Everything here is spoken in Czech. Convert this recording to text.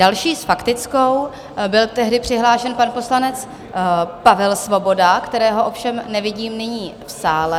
Další s faktickou byl tehdy přihlášen pan poslanec Pavel Svoboda, kterého ovšem nevidím nyní v sále.